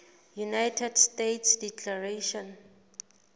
united states declaration